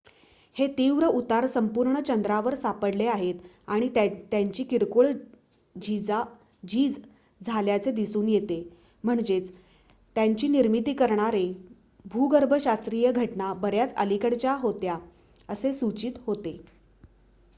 हे तीव्र उतार संपूर्ण चंद्रावर सापडले आहेत आणि त्यांची किरकोळ झीजा झाल्याचे दिसून येते म्हणजेच त्यांची निर्मिती करणारे भूगर्भशास्त्रीय घटना बऱ्याच अलिकडच्या होत्या असे सूचित होते